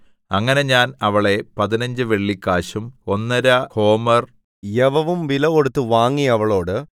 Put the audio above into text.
അങ്ങനെ ഞാൻ അവളെ പതിനഞ്ച് വെള്ളിക്കാശും ഒന്നര ഹോമെർ യവവും വിലകൊടുത്ത് വാങ്ങി അവളോട്